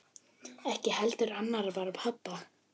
Ekki heldur annarra barna pabbi.